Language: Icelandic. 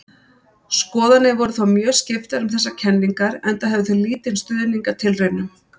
Skoðanir voru þó mjög skiptar um þessar kenningar enda höfðu þær lítinn stuðning af tilraunum.